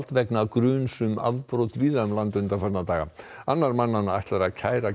vegna gruns um afbrot víða um land undanfarna daga annar mannanna ætlar að kæra